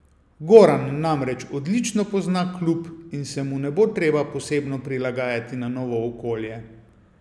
Goran namreč odlično pozna klub in se mu ne bo treba posebno prilagajati na novo okolje.